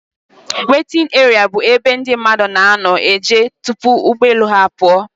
Wetin eria bụ ebe ndị mmadụ na-anọ eje tupu ụgbọelu ha apụọ.